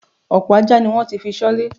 Ọ̀pọ̀ ajá ni wọ́n ti fi ṣọ́lé.